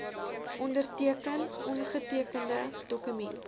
onderteken ongetekende dokumente